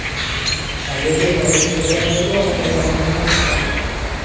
Norvegiya va Buyuk Britaniyadagi vatandoshlarimiz bilan suhbat.